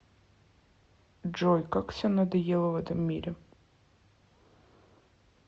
джой как все надоело в этом мире